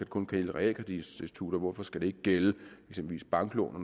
kun gælde realkreditinstitutter hvorfor skal det ikke gælde eksempelvis banklån og